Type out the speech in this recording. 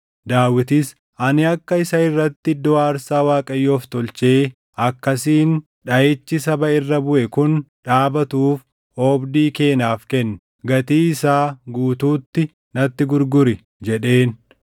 Daawitis, “Ani akka isa irratti iddoo aarsaa Waaqayyoof tolchee akkasiin dhaʼichi saba irra buʼe kun dhaabatuuf oobdii kee naaf kenni. Gatii isaa guutuutti natti gurguri” jedheen.